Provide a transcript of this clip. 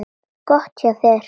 Gott hjá þér.